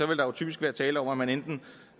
vil der typisk være tale om at man enten